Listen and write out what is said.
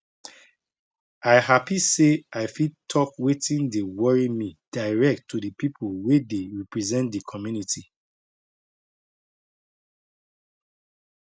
i happy say i fit talk watin dey worry me direct to the people wey dey represent the community